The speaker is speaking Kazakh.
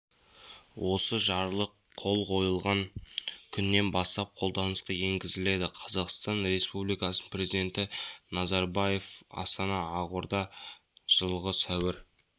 осы жарлық қол қойылған күнінен бастап қолданысқа енгізіледі қазақстан республикасының президенті назарбаев астана ақорда жылғы сәуір